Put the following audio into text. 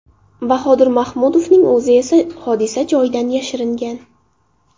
Bahodir Mahmudovning o‘zi esa hodisa joyidan yashiringan.